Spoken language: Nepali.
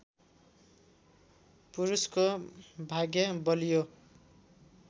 पुरूषको भाग्य बलियो